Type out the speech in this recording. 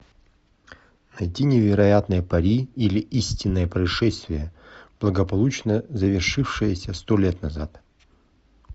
найди невероятное пари или истинное происшествие благополучно завершившееся сто лет назад